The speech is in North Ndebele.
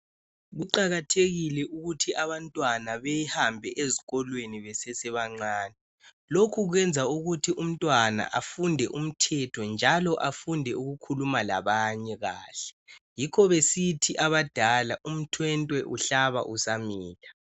Kuqakathekile ukuthi abantwana behambe ezikolweni besesebancane, lokhu kwenza ukuthi umntwana afunde umthetho njalo afunde ukukhuluma labanye kahle. Yikho besithi abadala umthwentwe uhlaba usamila.